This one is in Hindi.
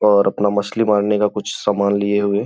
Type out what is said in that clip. और अपना मछली मारने का कुछ समान लिये हुए --